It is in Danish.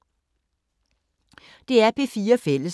DR P4 Fælles